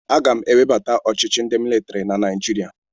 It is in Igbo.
Aga m ewebata ọchịchị ndị militiri na Naijiria.